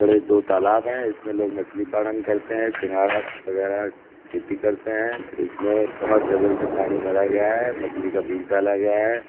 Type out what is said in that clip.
बड़े दो तालाब हैइसमें लोग मछली पालन करते हैं सिंघाड़ा वगैरह खेती करते है इसमें समर सेबिल से पानी भरा गया है मछली का बीज डाला गया है।